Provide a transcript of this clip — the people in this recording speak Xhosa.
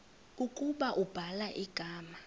ukuba ubhala igama